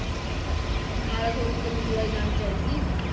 ਬਾਰ੍ਹਾਂ ਸੌ ਮਤਲਬ ਮਜਦੂਰਾਂ ਦੀ ਜਾਨ ਬਚਾਈ ਸੀ